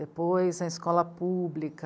Depois, a escola pública.